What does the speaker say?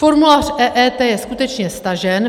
Formulář EET je skutečně stažen.